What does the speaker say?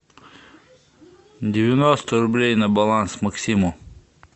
девяносто рублей на баланс максиму